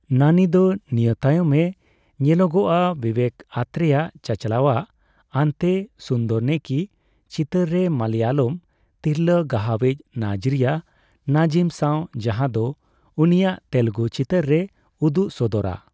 ᱱᱟᱱᱤ ᱫᱚ ᱱᱤᱭᱟᱹ ᱛᱟᱭᱚᱢᱮ ᱧᱮᱞᱚᱜᱚᱠᱼᱟ ᱵᱤᱵᱮᱠ ᱟᱛᱨᱮᱭᱟ ᱪᱟᱪᱟᱞᱟᱣᱟᱜ 'ᱟᱱᱛᱮ ᱥᱩᱱᱫᱚᱨᱱᱤᱠᱤ' ᱪᱤᱛᱟᱹᱨ ᱨᱮ ᱢᱟᱞᱟᱭᱟᱞᱚᱢ ᱛᱤᱨᱞᱟᱹ ᱜᱟᱦᱟᱣᱤᱪ ᱱᱟᱡᱨᱤᱭᱟ ᱱᱟᱡᱤᱢ ᱥᱸᱟᱣ, ᱡᱟᱦᱸᱟ ᱫᱚ ᱩᱱᱤᱭᱟᱜ ᱛᱮᱞᱮᱜᱩ ᱪᱤᱛᱟᱹᱨ ᱨᱮᱭ ᱩᱫᱩᱜ ᱥᱚᱫᱚᱨᱼᱟ ᱾